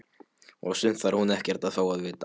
Og sumt þarf hún ekkert að fá að vita.